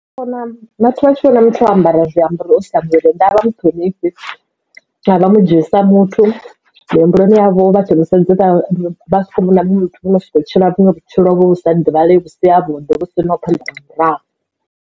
Ndi vhona vhathu vha tshi vhona muthu o ambara zwiambaro o sia muvhili nnḓa avha muṱhonifhi avha mudzhii sa muthu muhumbuloni yavho vha tshi mu sedza vha soko vhona munwe muthu o kho soko tshila vhutshilo vhu sa ḓivhalei vhu si havhuḓi vhu sina phanḓa na murahu.